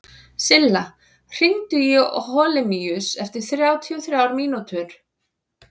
Silla, hringdu í Holemíus eftir þrjátíu og þrjár mínútur.